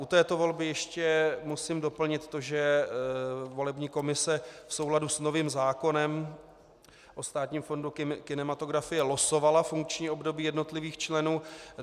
U této volby ještě musím doplnit to, že volební komise v souladu s novým zákonem o Státním fondu kinematografie losovala funkční období jednotlivých členů.